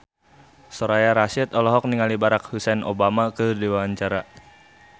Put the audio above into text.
Soraya Rasyid olohok ningali Barack Hussein Obama keur diwawancara